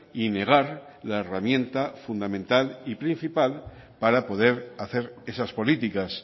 y negar la herramienta fundamental y principal para poder hacer esas políticas